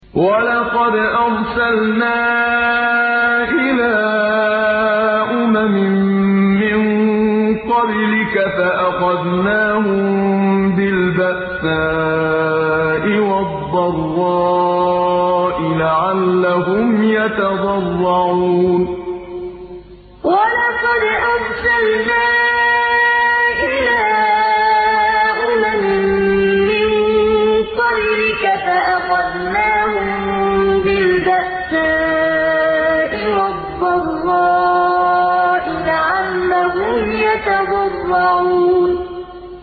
وَلَقَدْ أَرْسَلْنَا إِلَىٰ أُمَمٍ مِّن قَبْلِكَ فَأَخَذْنَاهُم بِالْبَأْسَاءِ وَالضَّرَّاءِ لَعَلَّهُمْ يَتَضَرَّعُونَ وَلَقَدْ أَرْسَلْنَا إِلَىٰ أُمَمٍ مِّن قَبْلِكَ فَأَخَذْنَاهُم بِالْبَأْسَاءِ وَالضَّرَّاءِ لَعَلَّهُمْ يَتَضَرَّعُونَ